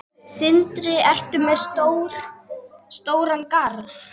Sindri: Ertu með stóran garð?